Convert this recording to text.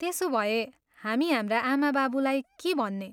त्यसोभए, हामी हाम्रा आमाबाबुलाई के भन्ने?